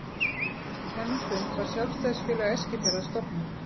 Eftir þennan fund var Sjálfstæðisfélag Eskifjarðar stofnað.